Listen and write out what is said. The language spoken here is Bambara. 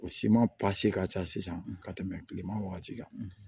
O siman ka ca sisan ka tɛmɛ kileman wagati kan